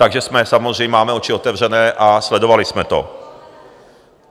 Takže jsme samozřejmě... máme oči otevřené a sledovali jsme to.